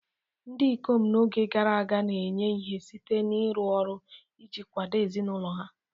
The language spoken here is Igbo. Ndị ikom n'oge gara aga na-enye ihe site n'ịrụ ọrụ iji kwado ezinụlọ ha..